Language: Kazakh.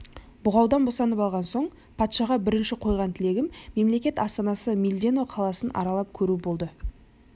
бұғаудан босанып алған соң патшаға бірінші қойған тілегім мемлекет астанасы мильдено қаласын аралап көру болды